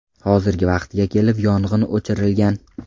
Hozirgi vaqtga kelib yong‘in o‘chirilgan.